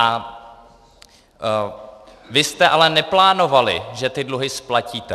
A vy jste ale neplánovali, že ty dluhy splatíte.